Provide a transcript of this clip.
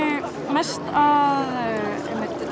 mest að